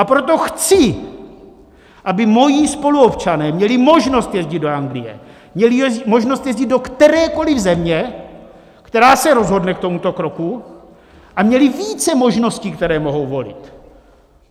A proto chci, aby moji spoluobčané měli možnost jezdit do Anglie, měli možnost jezdit do kterékoliv země, která se rozhodne k tomuto kroku, a měli více možností, které mohou volit.